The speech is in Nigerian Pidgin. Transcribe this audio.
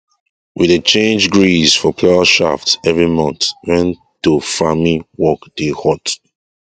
we dey change grease for plough shaft every month when to farming work dey hot